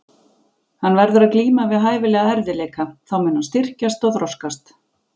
Hann verður að glíma við hæfilega erfiðleika, þá mun hann styrkjast og þroskast.